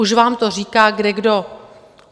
Už vám to říká kdekdo.